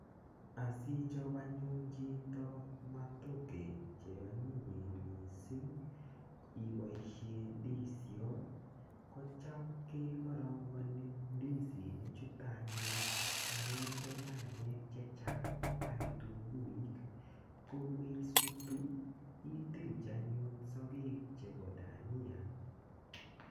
Asichop anyun chito matoke cheonyinyen mising iboishe ndisiot kocham kekorongoni ndisinik chuto anyun akende nyanyek che chang ak kitunguik ko kokeisutu itilchi anyun sokek chebo dania.